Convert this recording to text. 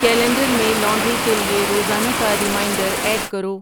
calendar میں laundry کے لیے روزانہ کا ریمایٔنڈر ایڈ کرو